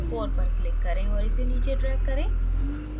4 पर click करें और इसे नीचे drag करें